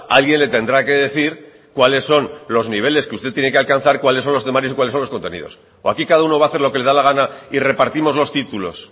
alguien le tendrá que decir cuáles son los niveles que usted tiene que alcanzar cuáles son los temarios y cuáles son los contenidos o aquí cada uno va a hacer lo que le da la gana y repartimos los títulos